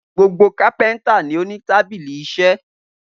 Gbogbo kápẹ́ńtà ni ó ní tábìlì iṣẹ́.